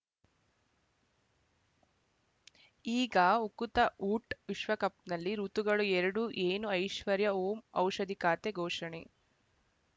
ಈಗ ಉಕುತ ಊಟ್ ವಿಶ್ವಕಪ್‌ನಲ್ಲಿ ಋತುಗಳು ಎರಡು ಏನು ಐಶ್ವರ್ಯಾ ಓಂ ಔಷಧಿ ಖಾತೆ ಘೋಷಣೆ